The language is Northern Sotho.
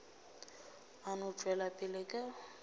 a no tšwela pele ka